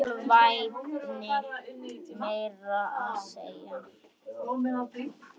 Með alvæpni meira að segja!